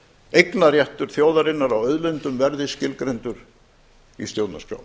eignarréttur þjóðarinnar á auðlindum verði skilgreindur í stjórnarskrá